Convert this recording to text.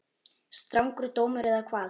Strangur dómur eða hvað?